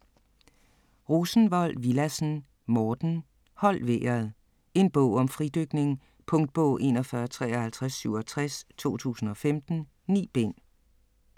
Rosenvold Villadsen, Morten: Hold vejret En bog om fridykning. Punktbog 415367 2015. 9 bind.